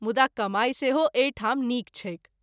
मुदा कमाई सेहो एहि ठाम नीक छैक।